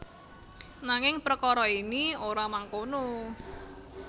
Nanging prekara ini ora mangkono